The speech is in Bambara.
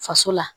Faso la